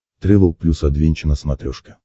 трэвел плюс адвенча на смотрешке